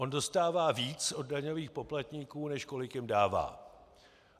On dostává víc od daňových poplatníků, než kolik jim dává.